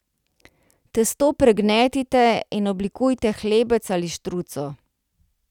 Testo pregnetite in oblikujte hlebec ali štruco.